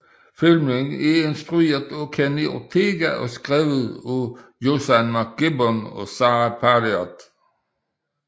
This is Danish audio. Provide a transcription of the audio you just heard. Filmen er instrueret af Kenny Ortega og skrevet af Josann McGibbon og Sara Parriott